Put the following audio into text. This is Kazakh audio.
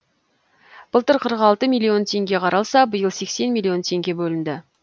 былтыр қырық алты миллион теңге қаралса биыл сексен миллион теңге бөлінді